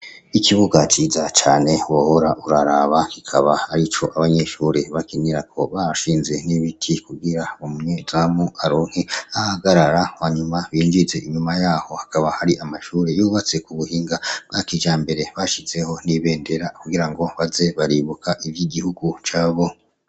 Ikibuga ciza cane wohora uraraba kikaba arico abanyeshure bakinirako, bashinze n'ibiti kugira umyezamu aronke ah'ahagarara hanyuma binjize. inyuma yaho hakaba har'amashuri yubatse k'ubuhinga bwakijambere bashizeho n'ibendera kugirango baze baribuka ivy'igihugu cabo.